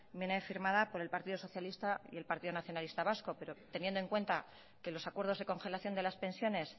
viene firmada por el partido socialista y el partido nacionalista vasco pero teniendo en cuenta que los acuerdos de congelación de las pensiones